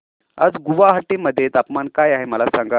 आज गुवाहाटी मध्ये तापमान काय आहे मला सांगा